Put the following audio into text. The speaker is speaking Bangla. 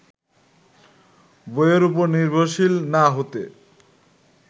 বইয়ের ওপর নির্ভরশীল না হতে